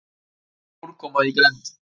Hvað er úrkoma í grennd?